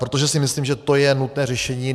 Protože si myslím, že to je nutné řešení.